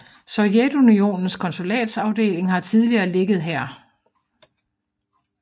Sovjetunionens konsulatsafdeling har tidligere ligget her